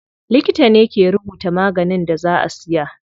Likita ne ke rubuta maganin da za a siya.